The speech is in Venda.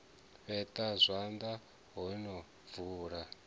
fheṱa zwanḓa o no bvula